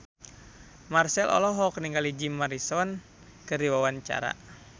Marchell olohok ningali Jim Morrison keur diwawancara